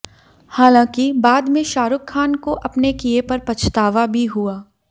हालांकि बाद में शाहरुख खान को अपने किये पर पछतावा भी हुआ